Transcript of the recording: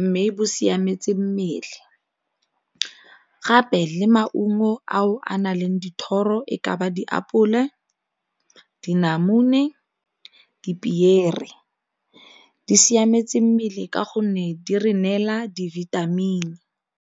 mme bo siametse mmele, gape le maungo ao a na leng dithoro e ka ba diapole, dinamune, dipiere. Di siametse mmele ka gonne di re neela di-vitamin.